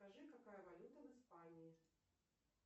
скажи какая валюта в испании